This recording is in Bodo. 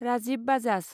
राजिब बाजाज